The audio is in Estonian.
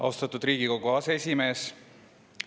Austatud Riigikogu aseesimees!